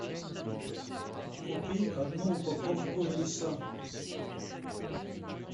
купи одну упаковку риса